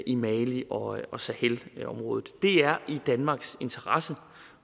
i mali og og sahelområdet det er i danmarks interesse